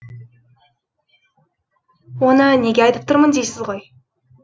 оны неге айтып тұрмын дейсіз ғой